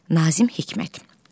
Nazim Hikmət.